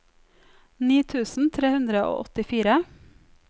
ni tusen tre hundre og åttifire